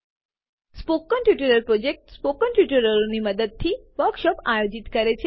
spoken tutorial project spoken ટ્યુટોરિયલોના મદદથી વર્કશોપો આયોજિત કરે છે